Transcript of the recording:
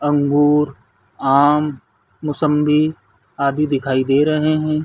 अंगूर आम मोसम्बी आदि दिखाई दे रहे है।